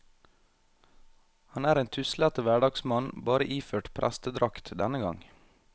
Han er en tuslete hverdagsmann, bare iført prestedrakt denne gang.